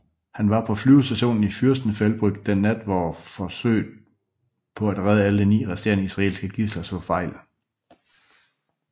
Han var på flyvestationen i Fürstenfeldbruck den nat hvor forsøget på at redde alle ni resterende israelske gidsler slog fejl